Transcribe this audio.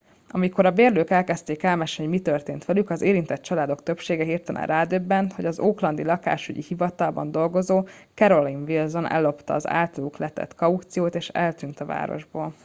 amikor a bérlők elkezdték elmesélni hogy mi történt velük az érintett családok többsége hirtelen rádöbbent hogy az oaklandi lakásügyi hivatalban dolgozó carolyn wilson ellopta az általuk letett kauciót és eltűnt a városból